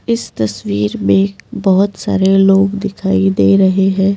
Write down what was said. इस तस्वीर में बहुत सारे लोग दिखाई दे रहे है।